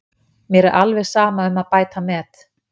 Mér er alveg sama um að bæta met.